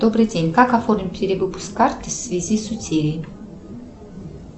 добрый день как оформить перевыпуск карты в связи с утерей